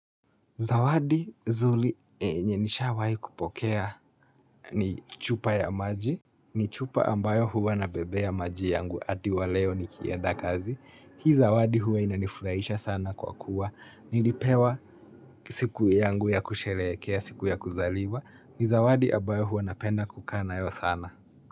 Zawadi zuli yenye nishawahi kupokea ni chupa ya maji, ni chupa ambayo huwa nabebea maji yangu hadi waleo nikienda kazi. Hii zawadi huwa inanifurahisha sana kwa kuwa, nilipewa siku yangu ya kusherekea, siku ya kuzaliwa, ni zawadi ambayo huwa napenda kukaa nayo sana.